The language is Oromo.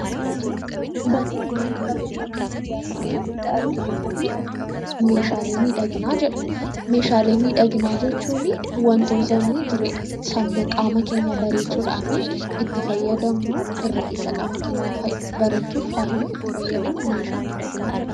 Barreeffamni nuti armaan olitti arginu kunii meeshaalee miidhaginaa jedha. Meeshaalee miidhaginaa jechuunii wantoota nuyi jireenya sammuu qaama keenya bareechuudhaafi itti fayyadamnuu irra keessa qaama keenyaa bareechuuf faayuuf itti fayyadamnu meeshaa miidhaginaa jedhama.